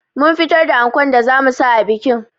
Mun fitar da ankon da zamu sa a bikin